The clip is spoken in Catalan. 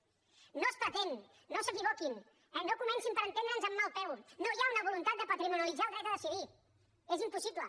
no es pretén no s’equivoquin no comencin per entendre’ns amb mal peu no hi ha una voluntat de patrimonialitzar el dret a decidir és impossible